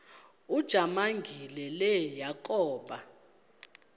ujamangi le yakoba